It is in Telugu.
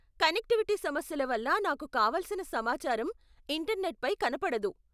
కనెక్టివిటీ సమస్యల వల్ల నాకు కావలసిన సమాచారం ఇంటర్నెట్పై కనపడదు.